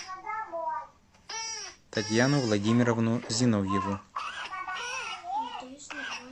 татьяну владимировну зиновьеву